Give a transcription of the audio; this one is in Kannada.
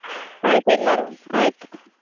ಆಯ್ತು ಎಲ್ಲರನ್ನು ಆಯ್ತು.